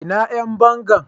Ina Yan banga?